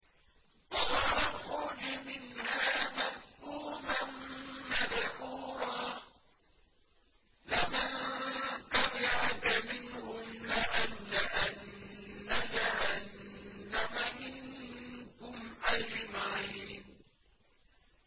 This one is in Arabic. قَالَ اخْرُجْ مِنْهَا مَذْءُومًا مَّدْحُورًا ۖ لَّمَن تَبِعَكَ مِنْهُمْ لَأَمْلَأَنَّ جَهَنَّمَ مِنكُمْ أَجْمَعِينَ